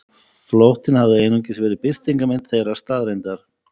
Flóttinn hafði einungis verið birtingarmynd þeirrar staðreyndar.